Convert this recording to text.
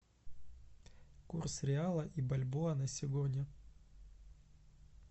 курс реала и бальбоа на сегодня